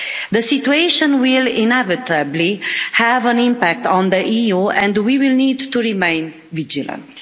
The situation will inevitably have an impact on the EU and we will need to remain vigilant.